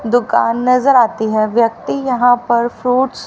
दुकान नजर आती है व्यक्ति यहां पर फ्रूट्स --